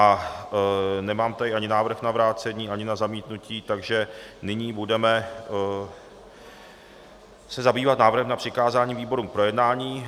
A nemám tady ani návrh na vrácení, ani na zamítnutí, takže nyní se budeme zabývat návrhem na přikázání výborům k projednání.